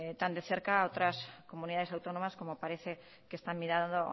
tan de cerca otras comunidades autónomas como parece que están mirando